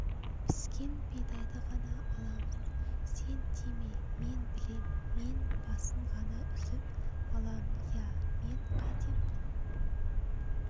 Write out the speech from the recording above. піскен бидайды ғана аламыз сен тиме мен білем мен басын ғана үзіп алам ия мен қайтем